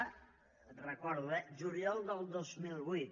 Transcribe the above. ho recordo eh juliol del dos mil vuit